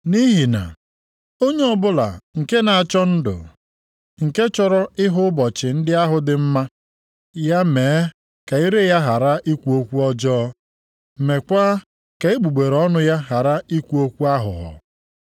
Nʼihi na, “Onye ọbụla nke na-achọ ndụ, nke chọrọ ịhụ ụbọchị ndị ahụ dị mma, ya mee ka ire ya ghara ikwu okwu ọjọọ meekwa ka egbugbere ọnụ ya ghara ikwu okwu aghụghọ.